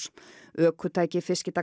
ökutæki